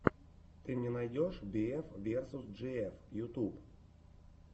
ты мне найдешь би эф версус джи эф ютуб